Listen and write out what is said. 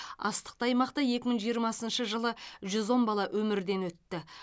астықты аймақта екі мың жиырмасыншы жылы жүз он бала өмірден өтті